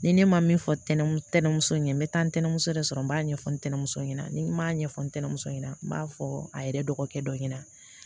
Ni ne ma min fɔ tɛnɛnso ye n bɛ taa ntɛnɛnso de sɔrɔ n b'a ɲɛfɔ ntɛnɛmuso ɲɛna ni n b'a ɲɛfɔ ntɛnɛmuso ɲɛna n b'a fɔ a yɛrɛ dɔgɔkɛ dɔ ɲɛna